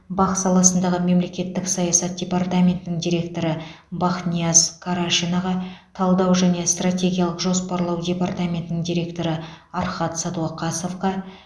бақ саласындағы мемлекеттік саясат департаментінің директоры бахнияз карашинаға талдау және стратегиялық жоспарлау департаментінің директоры архат сәдуақасовқа